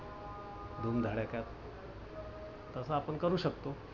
धूम धडाक्यात तस आपण करू शकतो.